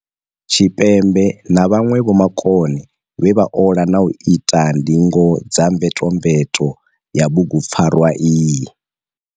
Tshipembe na vhanwe vho makone vhe vha ola na u ita ndingo dza mvetomveto ya bugupfarwa iyi.